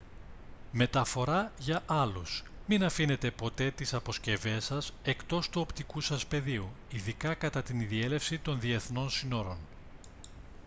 μεταφορά για άλλους μην αφήνεται ποτέ τις αποσκευές σας εκτός του οπτικού σας πεδίου ειδικά κατά τη διέλευση των διεθνών συνόρων